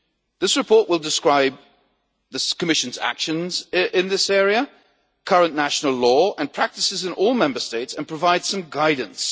This report will describe the Commission's actions in this area, current national law and practices in all Member States, and provide some guidance.